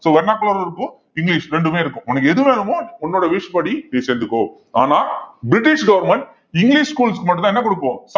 so vernacular இருக்கும் English ரெண்டுமே இருக்கும் உனக்கு எது வேணுமோ உன்னோட wish படி நீ சேந்துக்கோ ஆனா பிரிட்டிஷ் government இங்கிலிஷ் schools க்கு மட்டும்தான் என்ன கொடுப்போம்